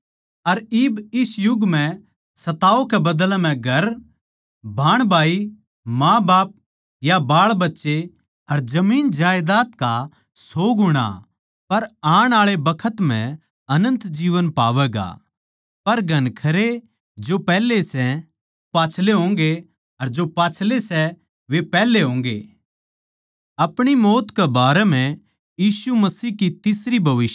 अर इब इस युग म्ह सताव गेल्या के बदले म्ह घर भाणभाई माँबाप या बाळबच्चे अर जमीन जायदाद का सौ गुणा पर आण आळे बखत म्ह अनन्त जीवन पावैगा